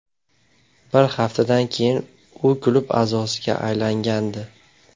Bir haftadan keyin u klub a’zosiga aylangandi.